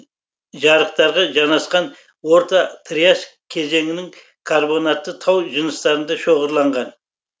жарықтарға жанасқан орта триас кезеңінің карбонатты тау жыныстарында шоғырланған